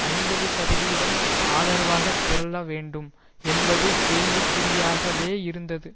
ஐம்பது சதவீதம் ஆதரவாக திரள வேண்டும் என்பது கேள்விக்குறியாகவேயிருந்தது